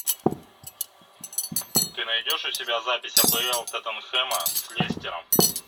ты найдешь у себя запись апл тоттенхэма с лестером